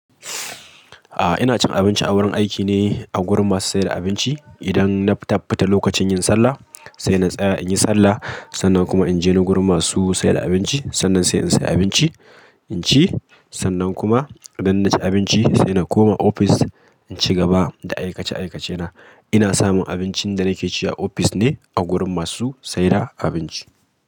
Ah, ina cin abinci a wurin aiki ne, a gurin masu se da abinci. Idan, na fita lokacin yin sallah, sai na tsaya in yi sallah, sannan kuma in je ni wurin masu se da abinci, sannan se in sey abinci, in ci, sannan kuma idan na ci abinci sai na koma ofis, in ci gaba da aikace-aikacena. Ina samun abincin da nake ci a ofis ne a gurin masu sayar da abinci.